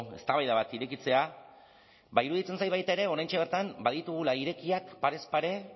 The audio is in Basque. eztabaida bat irekitzea ba iruditzen zait baita ere oraintxe bertan baditugula irekiak parez pare